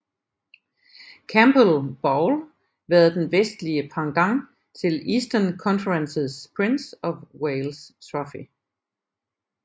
Campbell Bowl været den vestlige pendant til Eastern Conferences Prince of Wales Trophy